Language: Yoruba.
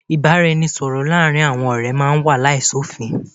Ìbáraẹnisọ̀rọ̀ láàárín àwọn ọ̀rẹ́ máà ń wà láìsí òfin.